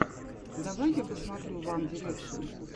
давай я посмотрю ван дирекшен